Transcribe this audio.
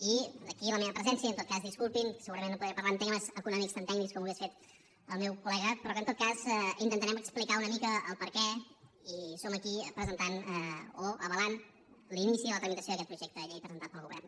i d’aquí la meva presència i en tot cas disculpin segurament no podré parlar en termes econòmics tan tècnics com ho hauria fet el meu col·lega però que en tot cas intentarem explicar una mica el perquè i som aquí presentant o avalant l’inici de la tramitació d’aquest projecte de llei presentat pel govern